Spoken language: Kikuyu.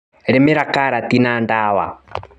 Rĩmĩra karati na ndawa.